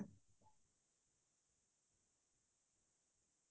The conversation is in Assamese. তেনেকোৱা type ৰ উপন্যাস বোৰ পঢ়ি বেচি ভাল লাগে মোৰ